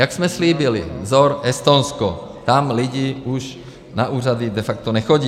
Jak jsme slíbili, vzor Estonsko, tam lidi už na úřady de facto nechodí.